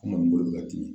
Ko maninka bolo bɛ ka dimi